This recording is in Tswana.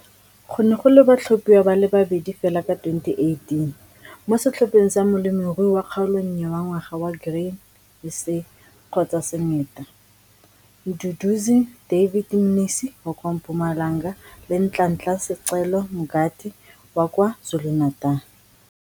Go ne go le batlhophiwa ba le babedi fela ka 2018 mo setlhopheng sa Molemirui wa Kgaolonnye wa Ngwaga wa Grain SA kgotsa Syngenta, Mduduzi David Mnisi wa kwa Mpumalanga le Nhlanhla Sicelo Mngadi wa kwa KwaZulu-Natal.